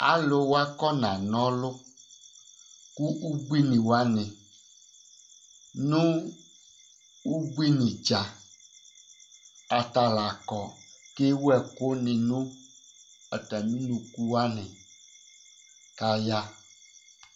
Alu wa akɔna na ɔlu kʋ ʋbʋini nʋ ʋbʋinidza ata la kɔ kʋ ewu ɛku ni nʋ atami ʋnʋku wani kʋ aya